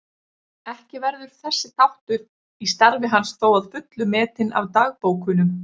Ekki verður þessi þáttur í starfi hans þó að fullu metinn af dagbókunum.